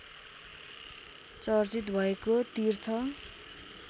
चर्चित भएको तीर्थ